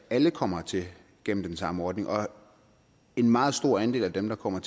alle kommer hertil gennem den samme ordning og en meget stor andel af dem der kommer